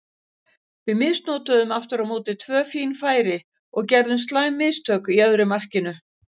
Við misnotuðum aftur á móti tvö fín færi og gerðum slæm mistök í öðru markinu.